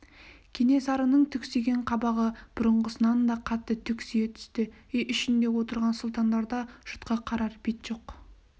кенесарының түксиген қабағы бұрынғысынан да қатты түксие түсті үй ішінде отырған сұлтандарда жұртқа қарар бет жоқ